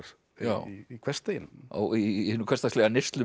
í hversdeginum í hinu hversdagslega